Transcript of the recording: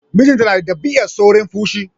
Mijinta na da ɗabi'ar saurin fushi.